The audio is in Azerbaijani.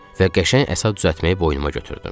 Və qəşəng əsa düzəltməyi boynuma götürdüm.